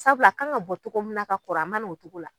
Sabul'a kan ŋa bɔ cogo min na ka kɔrɔ a man'o cogo la.